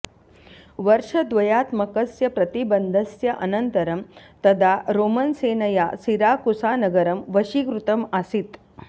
वर्षद्वयात्मकस्य प्रतिबन्धस्य अनन्तरं तदा रोमन्सेनया सिराकुसानगरं वशीकृतम् आसीत्